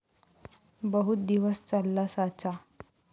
बहुत दिवस चालला साचा ।